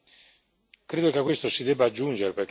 dalla direttiva iniziale.